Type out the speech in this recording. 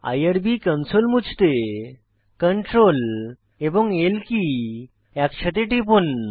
IRB console মুছতে Ctrl এবং L key একসাথে টিপুন